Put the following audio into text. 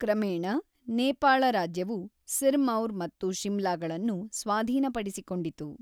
ಕ್ರಮೇಣ, ನೇಪಾಳ ರಾಜ್ಯವು ಸಿರ್ಮೌರ್ ಮತ್ತು ಶಿಮ್ಲಾಗಳನ್ನು ಸ್ವಾಧೀನಪಡಿಸಿಕೊಂಡಿತು.